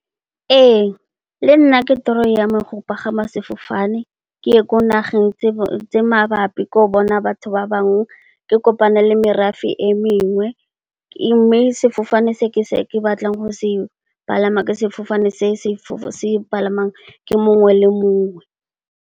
Ee le nna ke toro ya me go pagama sefofane ke ye ko nageng tse mabapi, ke ye go bona batho ba bangwe, ke kopane le merafe e mengwe. Mme, sefofane se ke batlang go se palama ke sefofane se palamiwang ke mongwe le mongwe.